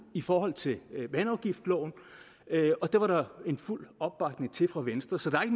i forhold til vandafgiftsloven og det var der fuld opbakning til fra venstre så der er